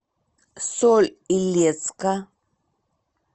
соль илецка